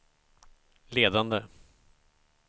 ledande